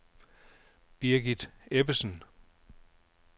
Birgit Ebbesen